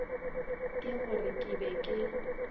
ke gore ke be ke